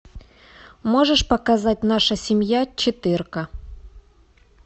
можешь показать наша семья четырка